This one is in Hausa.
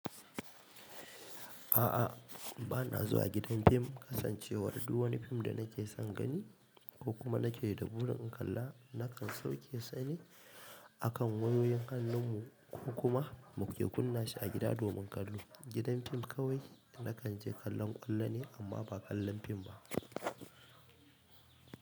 A'a, ba na zuwa gidan fim kasancewar du wani fim da nake son gani ko kuma nake da burin in kalla nakan sauke sane. Akan wayoyin hannun mu ko kuma muke kunna shi a gida domin kallo. Gidan fim kawai nakan je kallon ƙwallo ne amma ba kallon fim ba.